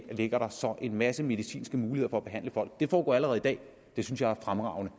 ligger så en masse medicinske muligheder behandle folk det foregår allerede i dag det synes jeg er fremragende